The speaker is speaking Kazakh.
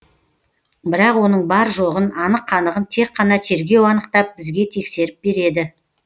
бірақ оның бар жоғын анық қанығын тек қана тергеу анықтап бізге тексеріп береді